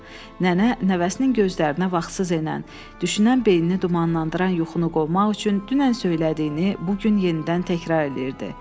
Nənə nəvəsinin gözlərinə vaxtsız enən, düşünən beynini dumanlandıran yuxunu qovmaq üçün dünən söylədiyini bu gün yenidən təkrar eləyirdi.